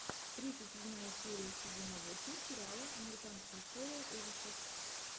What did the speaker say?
тридцать седьмая серия сезона восемь сериала американская история ужасов